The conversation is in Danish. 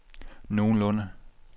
nogenlunde